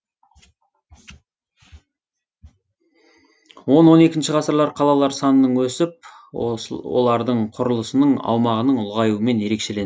он он екінші ғасырлар қалалар санының өсіп олардың құрылысының аумағының ұлғаюымен ерекшеленді